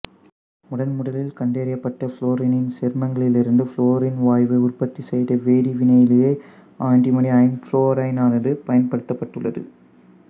முதன்முதலில் கண்டறியப்பட்ட புளோரினின் சேர்மங்களிலிருந்து புளோரின் வாயுவை உற்பத்தி செய்த வேதிவினையிலேயே ஆண்டிமணி ஐம்புளோரைடானது பயன்படுத்தப்பட்டுள்ளது